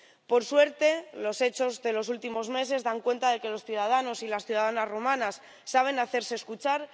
Por suerte los hechos de los últimos meses dan cuenta de que los ciudadanos y las ciudadanas rumanas saben hacerse escuchar.